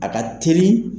A ka teli